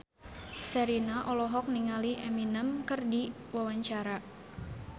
Sherina olohok ningali Eminem keur diwawancara